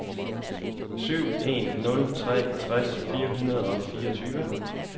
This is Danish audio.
syv en nul tre tres fire hundrede og fireogtyve